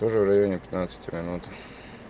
тоже в районе пятнадцати минут